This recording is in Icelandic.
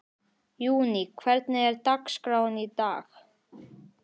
Júní, hvernig er dagskráin í dag?